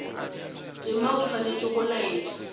tema o swanetše go laetša